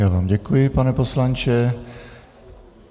Já vám děkuji, pane poslanče.